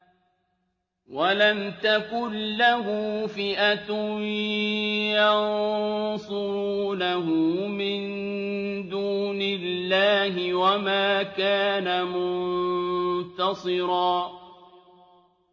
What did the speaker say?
وَلَمْ تَكُن لَّهُ فِئَةٌ يَنصُرُونَهُ مِن دُونِ اللَّهِ وَمَا كَانَ مُنتَصِرًا